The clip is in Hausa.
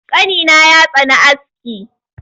Ƙanina ya tsani aski.